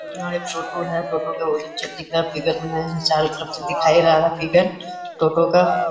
यहाँ एक छोटू है। टोटो का बहोत अच्छा दिख रहा है। चारों तरफ भी दिखा दे रहा है फिगर टोटो का।